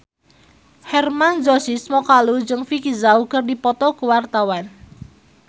Hermann Josis Mokalu jeung Vicki Zao keur dipoto ku wartawan